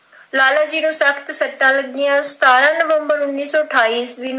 ਲਾਲਾ ਜੀ ਦੇ ਸਖ਼ਤ ਸੱਟਾ ਲੱਗਿਆ, ਅਠਾਰਾਂ ਨਵੰਬਰ ਉੱਨੀ ਸੌ ਅਠਾਈ ਈਸਵੀ ਨੂੰ